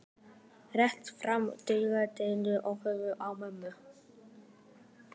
Réttir fram digrar hendurnar og horfir á mömmu.